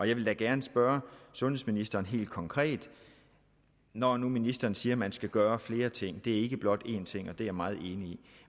jeg vil da gerne spørge sundhedsministeren helt konkret når nu ministeren siger at man skal gøre flere ting og ikke blot én ting og det er jeg meget enig i